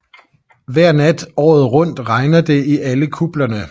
Hver nat året rundt regner det i alle kuplerne